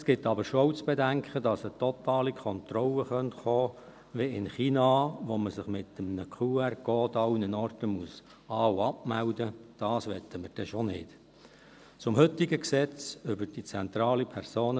Es gilt aber schon auch zu bedenken, dass eine totale Kontrolle kommen könnte, wie in China, wo man sich mit einem QR-Code an allen Orten an- und abmelden muss.